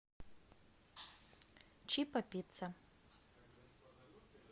чиппо пицца